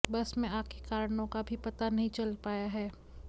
बस में आग के कारणों का अभी पता नहीं चल पाया है